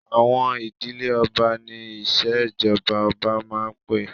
Àwọn ìdílé ọba ni ìṣèjọba ọba máa ń pé